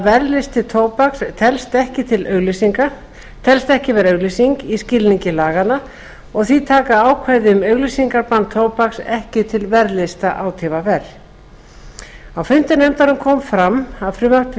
verðlisti tóbaks telst ekki vera auglýsing í skilningi laganna og því taka ákvæði um auglýsingabann tóbaks ekki til verðlista átvr á fundum nefndarinnar kom fram að frumvarpið